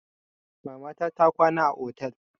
Mamata ta kwana a otel.